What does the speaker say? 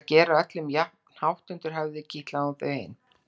Og til að gera öllum jafnhátt undir höfði kitlaði hún þau hin.